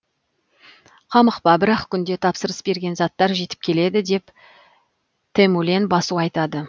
қамықпа бір ақ күнде тапсырыс берген заттар жетіп келеді деп тэмүлэн басу айтады